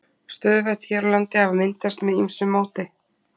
Stöðuvötn hér á landi hafa myndast með ýmsu móti.